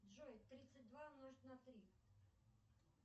джой тридцать два умножить на три